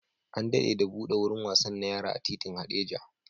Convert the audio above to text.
An dade da buɗe wurin wasan na yara a titin Hadeja